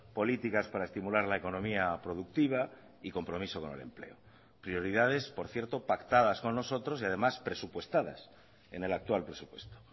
políticas para estimular la economía productiva y compromiso con el empleo prioridades por cierto pactadas con nosotros y además presupuestadas en el actual presupuesto